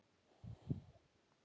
Nöfnin koma hér á eftir.